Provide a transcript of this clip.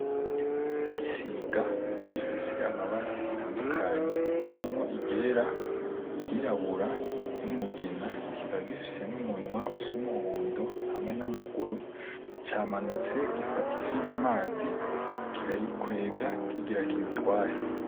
Igisiga gifise amabara atandukanye harimwo i ryera; i ryirabura; n'umugina; kikaba gifise n'umunwa usa umuhondo hamwe n'amaguru. Camanutse gifata ifi mu mazi, kirayikwega kigira kiyitware.